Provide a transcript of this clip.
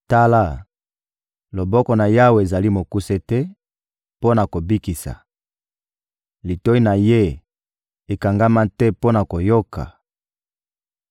Tala, loboko na Yawe ezali mokuse te mpo na kobikisa, litoyi na Ye ekangama te mpo na koyoka!